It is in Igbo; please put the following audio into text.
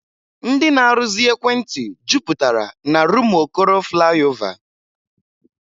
Ndị na-arụzi ekwentị jupụtara n'Rụmụokoro Flaịọvá.